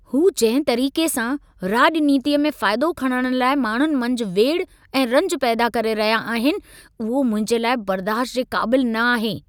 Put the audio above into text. हूं जंहिं तरीक़े सां, राॼनीतीअ में फ़ाइदो खणण लाइ माण्हुनि मंझि वेड़ि ऐं रंजु पैदा करे रहिया आहिनि, उहो मुंहिंजे लाइ बर्दाश्त जे क़ाबिलु न आहे।